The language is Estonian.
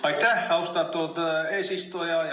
Aitäh, austatud eesistuja!